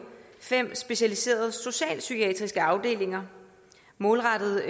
fem specialiserede socialpsykiatriske afdelinger målrettet